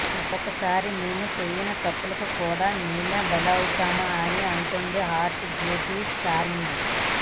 ఒక్కోసారి మేము చేయని తప్పులకు కూడా మేమే బలైపోతాం అని అంటుంది హాట్ బ్యూటీ ఛార్మి